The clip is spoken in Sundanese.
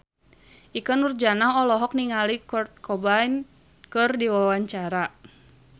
Ikke Nurjanah olohok ningali Kurt Cobain keur diwawancara